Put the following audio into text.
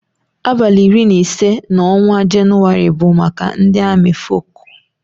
Abali iri na ise na ọnwa jenuwari bu maka ndi ami fọcu.